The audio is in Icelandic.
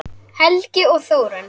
Helgi og Þórunn.